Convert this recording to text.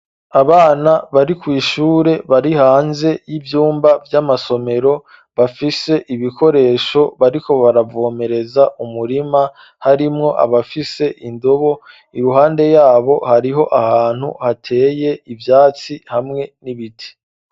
Abana bari kw'ishure bari hanze y'ivyumba vy'amasomero, bafise ibikoresho bariko baravomereza umurima, harimwo abafise indobo, iruhande yabo hariho ahantu hateye ivyatsi hamwe n'ibiti.